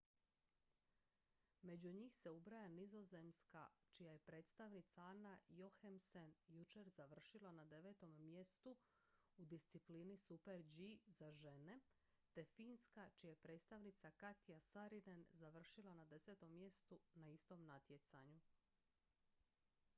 među njih se ubraja nizozemska čija je predstavnica anna jochemsen jučer završila na devetom mjestu u disciplini super-g za žene te finska čija je predstavnica katja saarinen završila na desetom mjestu na istom natjecanju